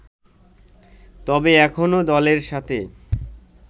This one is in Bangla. তবে এখনও দলের সাথে